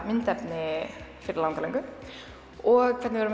myndefni fyrir langalöngu og hvernig við